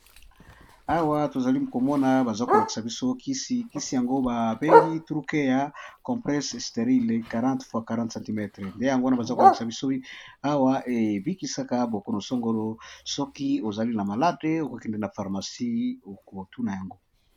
Awa tozali komona baza kolakisa biso kisi yango babengi truke ya comprese sterile 40x40 cm nde yango wana baza kolakisa bisoi awa ebikisaka bokonosangolo soki ozali na malade okokende na pharmacie okotuna yango.